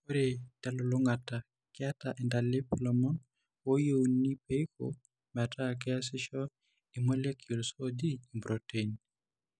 Ore telulung'ata, keeta intalip ilomon ooyieuni peiko metaakeesisho irmolecules ooji impuroteini.